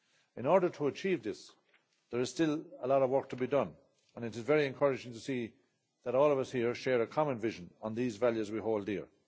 In order to achieve this, there is still a lot of work to be done and it is very encouraging to see that all of us here share a common vision on these values we hold dear.